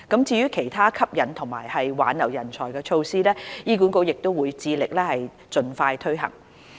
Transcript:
至於其他吸引和挽留人才措施，醫管局會致力盡快推行。